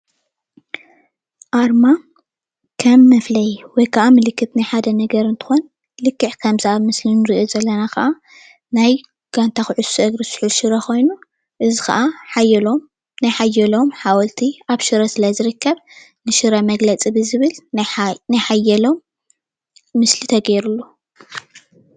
አርማ ከም መፍለይ ወይ ከዓ ምልክት ናይ ሓደ ነገር እንትኮን ልክዕ ከምዚ ኣብ ምስሊ እንሪኦ ዘለና ከዓ ናይ ጋንታ ኩዕሶ እግሪ ሱሑል ሽረ ኮይኑ እዚ ከዓ ሓየሎም ናይ ሓየሎም ሓወልቲ ኣብ ሽረ ስለ ዝርከብ ንሽረ መግለፂ ብዝብል ናይ ሓየሎም ምስሊ ተገይርሉ፡፡